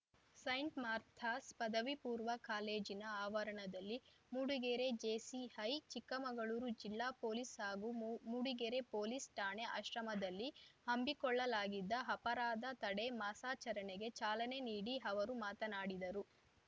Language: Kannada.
ಸೈಂಟ್‌ ಮಾರ್ಥಾಸ್‌ ಪದವಿಪೂರ್ವ ಕಾಲೇಜಿನ ಆವರಣದಲ್ಲಿ ಮೂಡಿಗೆರೆ ಜೆಸಿಐ ಚಿಕ್ಕಮಗಳೂರು ಜಿಲ್ಲಾ ಪೊಲೀಸ್‌ ಹಾಗೂ ಮೂ ಮೂಡಿಗೆರೆ ಪೊಲೀಸ್‌ ಠಾಣೆ ಆಶ್ರಮದಲ್ಲಿ ಹಮ್ಮಿಕೊಳ್ಳಲಾಗಿದ್ದ ಅಪರಾಧ ತಡೆ ಮಾಸಾಚರಣೆಗೆ ಚಾಲನೆ ನೀಡಿ ಅವರು ಮಾತನಾಡಿದರು